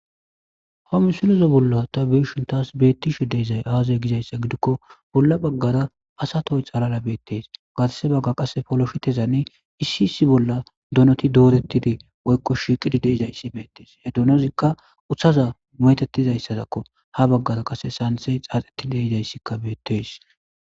homi silozo bolla ta beeshin taas beettishe deezay aazay gizayssa gidikko bolla baggara asatoy xalala beettees gatase bagga qasse foloshitezanne issi issi bolla donoti doorettidi oykko shiiqidi deizayssi beettees he dunozikka uthaza mo7etettizayssadakko ha baggara qase saantey xaaxeti deizayssikka beettees